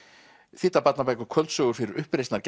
þýddar barnabækur kvöldsögur fyrir